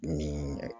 Ni